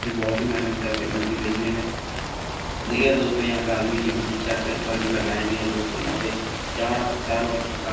कि बोहोत ही मेहनत करते मछली बेचने में देखिए दोस्तो यहाँ पे आदमी की भीड़ चढ़ कर बल्ब लगाए गए हैं दोस्तो यहाँ पे चार आ चार वर्कर काम --